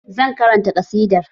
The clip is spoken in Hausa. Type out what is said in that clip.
Zan karanta ƙasidar